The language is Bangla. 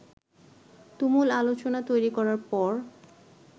তুমুল আলোচনা তৈরি করার পর